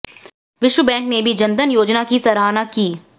विश्व बैंक ने भी जन धन योजना की सराहना की है